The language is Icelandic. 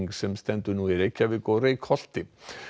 sem stendur nú í Reykjavík og Reykholti